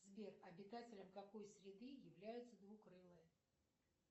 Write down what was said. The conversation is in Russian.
сбер обитателем какой среды являются двукрылые